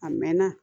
A mɛn na